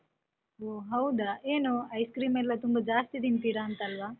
ಹೊ ಹೌದಾ ಏನು ice cream ಎಲ್ಲ ತುಂಬ ಜಾಸ್ತಿ ತಿಂತೀರಂತಲ್ವ?